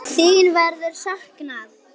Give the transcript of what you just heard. Þín verður saknað.